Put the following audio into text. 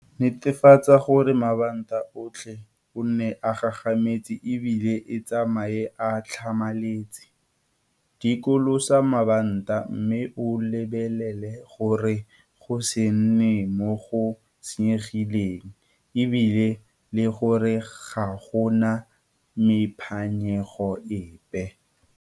Netefatsa gore mabanta otlhe o nne a gagametse e bile e tsamaye a tlhamaletse. Dikolosa mabanta mme o lebelele gore go se nne mo go senyegileng e bile le gore ga go na mephanyego epe.